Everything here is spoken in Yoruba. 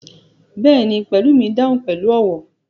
Bẹ́ẹ̀ni, Pelumi dahun pẹlu ọwọ